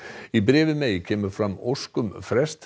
í bréfi May kemur fram ósk um frest